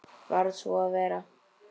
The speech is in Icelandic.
Varð svo að vera.